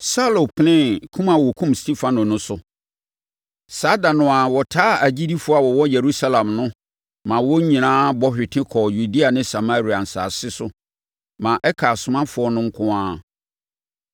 Saulo penee kum a wɔkum Stefano no so. Saa ɛda no ara, wɔtaa agyidifoɔ a wɔwɔ Yerusalem no maa wɔn nyinaa bɔ hwete kɔɔ Yudea ne Samaria nsase so maa ɛkaa asomafoɔ no nko ara.